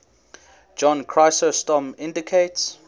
john chrysostom indicates